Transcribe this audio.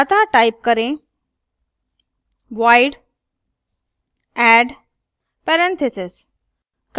अतः type करें void add parentheses